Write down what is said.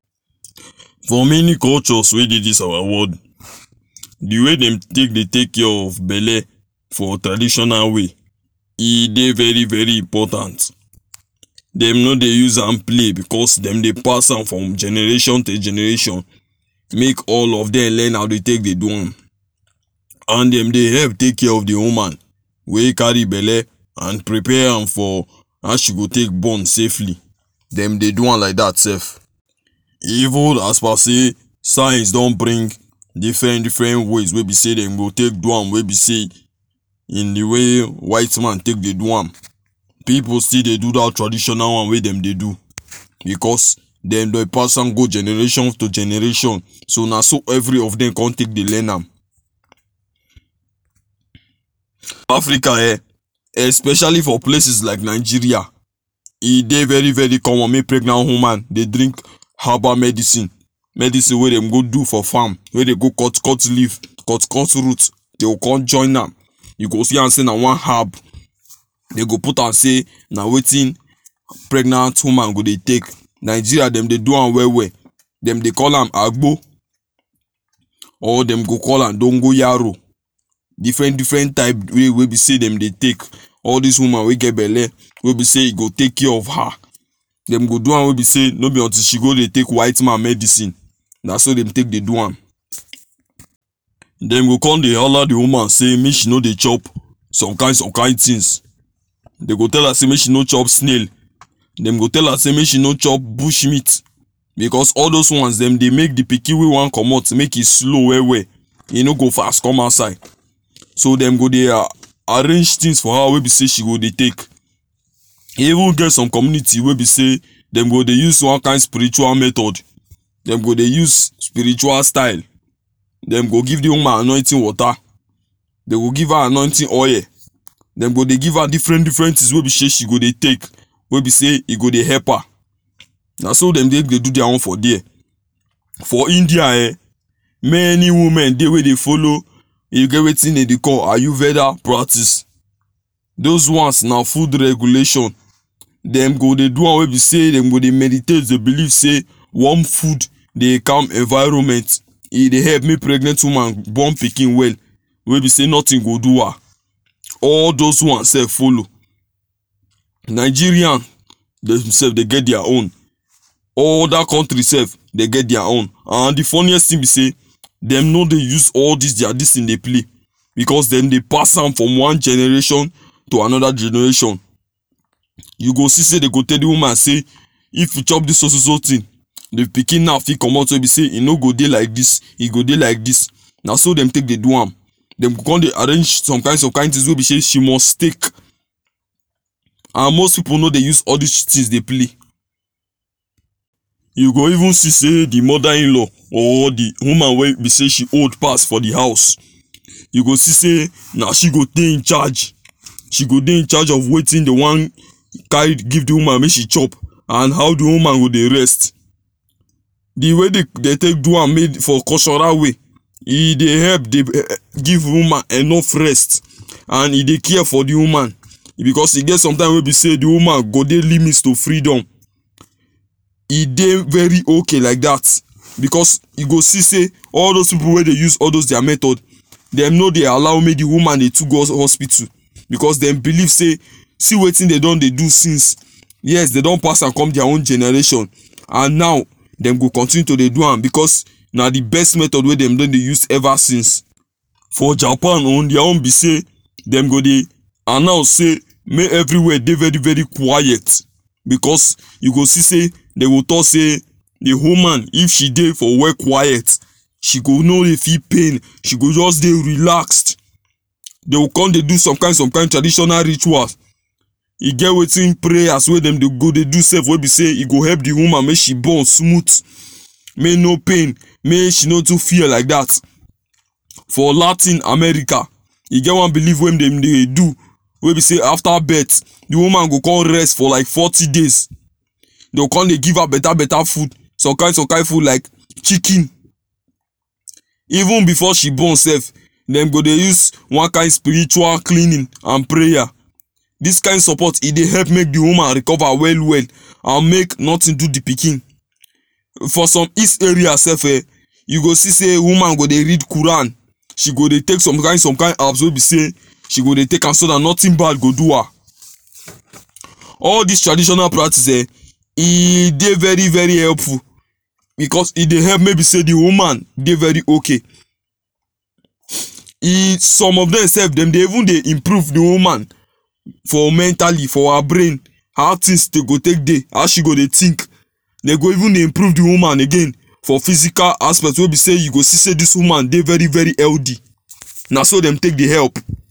For many cultures wey dey dis our world, the way dem take dey take care of belle for traditional way e dey very very important. Dem no dey use am play, because dem dey pass am from generation to generation. Make all of them learn how dey take dey do am. And dem dey help take care of the woman wey carry belle and prepare am for how she go take born safely. Dem dey do am like that sef. Even as per sey science don bring different different ways wey be sey dem go take do am wey be sey in the way white man take dey do am. People still dey do that traditional one wey dem dey do because dem dey pass am go generation to generation so na so every of them come take dey learn am. Africa um, especially for places like Nigeria e dey very very common make pregnant woman dey drink herbal medicine. Medicine we dem go do for farm; wey dey go cut cut leaf, cut cut fruits they’ll kon join am. You go see am sey na one herb dey go put am sey na wetin pregnant woman go dey take. Nigeria dem dey do am well well, dem dey call am agbo or dem go call am dongoyaro. Different different type way wey be sey dem dey take all this woman wey get belle wey be sey e go take care of her. Dem go do am wey be sey no be until she go dey take white man medicine. Na so dem take dey do am. Dem go come dey holla the woman sey make she no dey chop some kind some kind things. Dey go tell am sey make she no chop snail. Dem go tell am sey make she no chop bush meat because all those ones dem dey make the pikin wey want comot make e slow well well. E no go fast come outside. So dem go dey a arrange things for her wey be sey she go dey take. E even get some community wey be sey dem go dey use one kind spiritual method, dem go dey use spiritual style, dem go give the woman anointing water, they will give her anointing oil. Dem go dey give her different different things wey be sey she go dey take, wey be sey e go dey help her. Na so dem get dey do their own for there. For India um, many women dey wey dey follow e get wetin dey dey call ayurveda practice. Those ones na food regulation dem go dey do am wey be sey dem go dey meditate dey believe sey warm food dey calm environment. E dey help make pregnant woman born pikin well wey be sey nothing go do her. All those ones sef follow. Nigerian dem self dey get their own. Other countries sef dey get their own and the funniest thing be sey dem no dey use all these their this thing dey play, because dem dey pass am from one generation to another generation. You go see sey dey go tell the woman say if you chop this so so so thing, the pikin now fit comot wey be sey e no go dey like this, e go dey like this. Na so dem take dey do am. Dem go con dey arrange some kind some kind things wey be sey she must take. And most people no dey use all these things dey play. You go even see sey the mother in law or the woman wey be sey she old pass for the house, you go see sey na she go dey in charge. She go dey in charge of wetin dey wan carry give the woman make she chop and how the woman go dey rest. The way dem dey take do am made for cultural way, e dey help d um give woman enough rest and e dey care for the woman, because e get sometime wey be sey the woman go dey limits to freedom. E dey very okay like that because e go see sey all those people wey dey use all those their method dem no dey allow make the woman dey too go hospital. Because dem believe sey see wetin dey don dey do since, yes dey don pass am come their own generation. And now dem go continue to dey do am, because na the best method wey dem don dey use ever since. For Japan o, their own be sey dem go dey announce sey make everywhere dey very very quiet. Because e go see sey dey go talk say the woman if she dey for where quiet she go no dey feel pain, she go just dey relaxed. They’ll kon dey do some kind some kind traditional rituals. E get wetin prayers wey dem dey go dey do sef wey be sey e go dey help the woman make she born smooth. May e no pain, make she no too fear like that. For Latin America, e get one belief wey dem dey do wey be sey after birth the woman go con rest for like forty days. Dey con dey give her better better food, some kind some kind food like chicken. Even before she born sef, dem go dey use one kind spiritual cleaning and prayer. This kind support e dey help make the woman recover well well and make nothing do the pikin. For some east area sef um, you go see sey woman dey go read qur’an. She go dey take some kind some kind herbs wey be sey she go dey take am so that nothing bad go do her. All these traditional practices um, e dey very very helpful because e dey help may be sey the woman dey very okay if some of them sef dem dey even dey improve the woman for mentally, for her brain how things dey go take dey, how she go dey think. Dem go even improve the woman again for physical aspect wey be sey you go see sey this woman dey very very healthy. Na so dem take dey help.